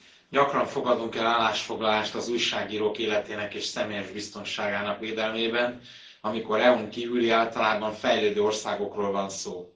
Elnök Asszony! Gyakran fogadunk el állásfoglalást az újságírók életének és személyes biztonságának védelmében, amikor EU n kívüli, általában fejlődő országokról van szó.